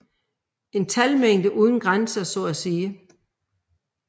En talmængde uden grænser så at sige